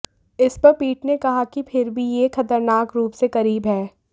इस पर पीठ ने कहा कि फिर भी यह खतरनाक रूप से करीब है